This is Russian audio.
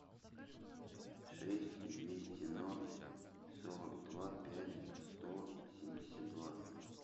шесть двести ноль сорок два пять сто семьдесят два